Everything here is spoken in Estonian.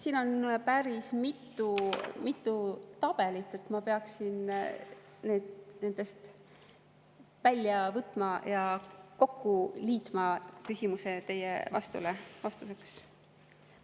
Siin on päris mitu tabelit, ma peaksin need nendest välja võtma ja kokku liitma teie küsimuse vastuseks.